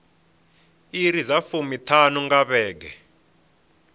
iri dza fumiṱhanu nga vhege